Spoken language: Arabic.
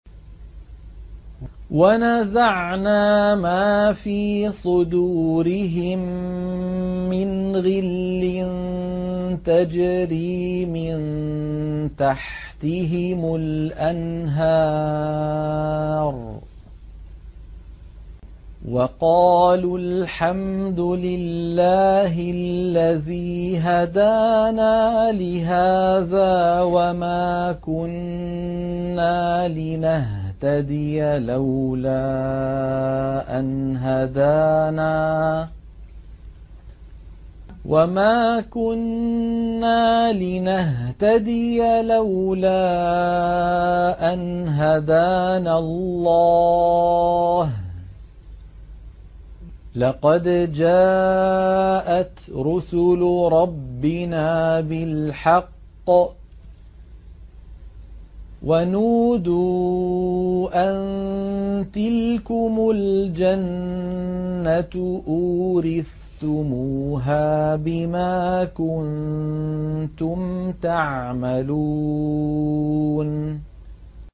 وَنَزَعْنَا مَا فِي صُدُورِهِم مِّنْ غِلٍّ تَجْرِي مِن تَحْتِهِمُ الْأَنْهَارُ ۖ وَقَالُوا الْحَمْدُ لِلَّهِ الَّذِي هَدَانَا لِهَٰذَا وَمَا كُنَّا لِنَهْتَدِيَ لَوْلَا أَنْ هَدَانَا اللَّهُ ۖ لَقَدْ جَاءَتْ رُسُلُ رَبِّنَا بِالْحَقِّ ۖ وَنُودُوا أَن تِلْكُمُ الْجَنَّةُ أُورِثْتُمُوهَا بِمَا كُنتُمْ تَعْمَلُونَ